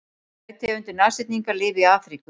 tvær tegundir nashyrninga lifa í afríku